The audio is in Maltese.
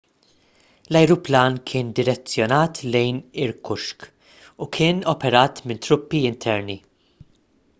l-ajruplan kien direzzjonat lejn irkutsk u kien operat minn truppi interni